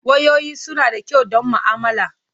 Wayoyi suna da kyau don ma'amala.